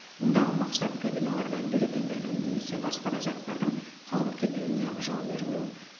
мұндағы мақсат кабиналарда бюллетендердің немесе басқа да заттардың қалып кетуіне жол бермеу